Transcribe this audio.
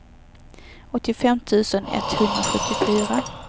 åttiofem tusen etthundrasjuttiofyra